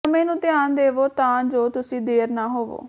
ਸਮੇਂ ਨੂੰ ਧਿਆਨ ਦੇਵੋ ਤਾਂ ਜੋ ਤੁਸੀਂ ਦੇਰ ਨਾ ਹੋਵੋ